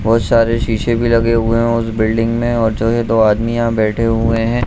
बहुत सारे सीसे भी लगे हुए हैं उस बिल्डिंग में और जो ये दो आदमी यहाँ बैठे हुए हैं।